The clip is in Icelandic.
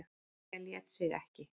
Lilja lét sig ekki.